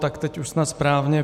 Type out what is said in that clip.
Tak teď už snad správně.